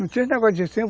Não tinha negócio de ir